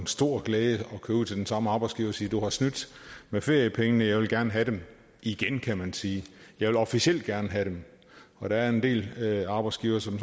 stor glæde at køre ud til den samme arbejdsgiver og sige du har snydt med feriepengene og jeg vil gerne have dem igen kan man sige jeg vil officielt gerne have dem der er en del arbejdsgivere som